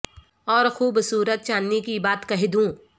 اور خوب صورت چاندنی کی بات کہہ دو ں